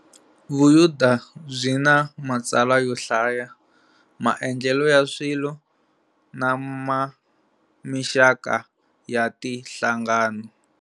Vuyuda byina matsalwa yo hlaya, maendlele ya swilo, nama mixaka ya tinhlangano.